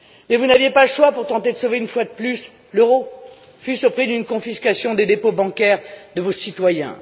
crise. Mais vous n'avez pas le choix, pour tenter de sauver une fois de plus, l'euro, fût ce au prix d'une confiscation des dépôts bancaires de vos citoyens.